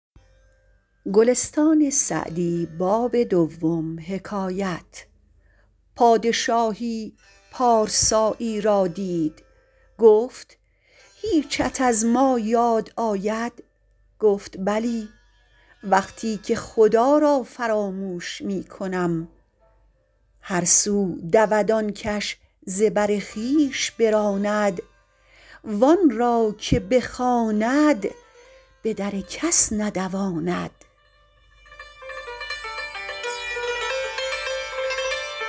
پادشاهی پارسایی را دید گفت هیچت از ما یاد آید گفت بلی وقتی که خدا را فراموش می کنم هر سو دود آن کش ز بر خویش براند وآن را که بخواند به در کس ندواند